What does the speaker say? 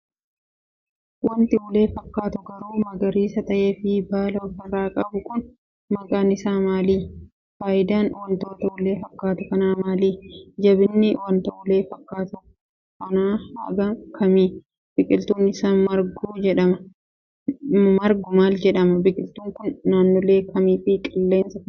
Wanti ulee fakkaatu garuu magariisa ta'ee fi baala of irraa qabu kun maqaan isaa maali? Faayidaan wanta ulee fakkaatu kanaa maali? Jabinni wanta ulee fakkaatu kan hanga kami? Biqiltuun isaa margu maal jedhama. Biqiltuun kun naannolee kamii fi qilleensa akkamii keessatti marga?